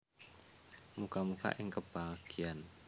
Muga muga ing kabagyan